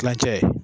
Kilancɛ